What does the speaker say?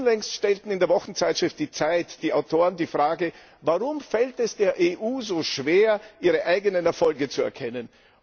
Unlängst stellten in der Wochenzeitschrift Die Zeit die Autoren die Frage Warum fällt es der EU so schwer, ihre eigenen Erfolge zu erkennen?